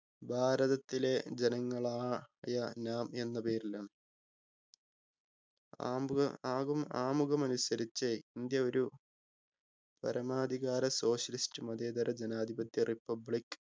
ഭാരതത്തിലെ ജനങ്ങളാ യ നാം എന്ന പേരിലാണ് ആമ്പുക ആകും ആമുഖം അനുസരിച് ഇന്ത്യ ഒരു പരമാധികാര socialist മതേതര ജനാധിപത്യ republic